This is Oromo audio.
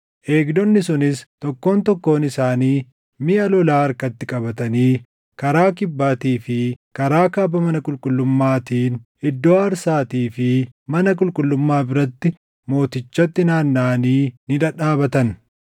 Eegdonni sunis, tokkoon tokkoon isaanii miʼa lolaa harkatti qabatanii karaa kibbaatii fi karaa kaaba mana qulqullummaatiin iddoo aarsaatii fi mana qulqullummaa biratti mootichatti naannaʼanii ni dhadhaabatan.